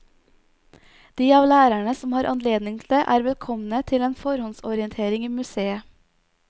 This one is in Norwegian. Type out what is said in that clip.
De av lærerene som har anledning til det, er velkomne til en forhåndsorientering i museet.